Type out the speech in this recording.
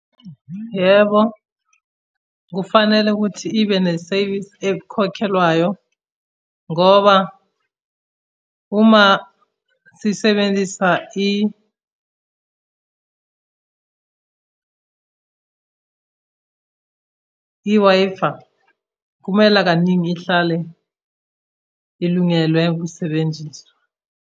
Yebo, kufanele ukuthi ibe nesevisi ekhokhelwayo, ngoba uma sisebenzisa i-Wi-Fi, kumela kaningi ihlale ilungelwe ukusebenziswa.